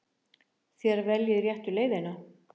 Þér veljið réttu leiðina.